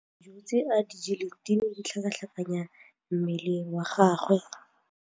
Dijô tse a di jeleng di ne di tlhakatlhakanya mala a gagwe.